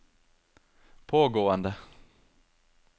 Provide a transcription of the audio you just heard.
pågående